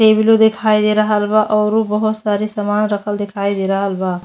टेबलो देखाई दे रहल बा औरु बहोत सारे सामान रखल देखाई दे रहल बा।